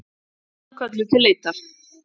Þyrlan kölluð til leitar